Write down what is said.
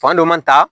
Fan dɔ man ta